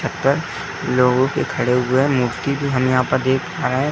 छत पर लोगों के खड़े हुए मूर्ति भी हम यहाँ पर देख पा रहे हैं।